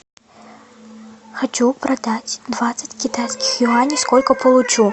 хочу продать двадцать китайских юаней сколько получу